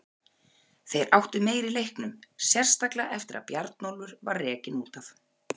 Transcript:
Þeir áttu meira í leiknum, sérstaklega eftir að Bjarnólfur var rekinn út af.